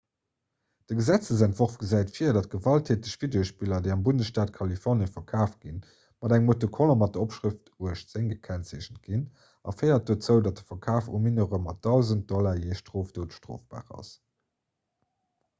de gesetzentworf gesäit vir datt gewalttäteg videospiller déi am bundesstaat kalifornie verkaaft ginn mat engem autocollant mat der opschrëft 18 gekennzeechent ginn a féiert dozou datt de verkaf u mineure mat 1.000 $ jee strofdot strofbar ass